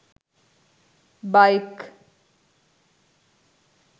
bike